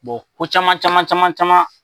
ko caman caman caman caman.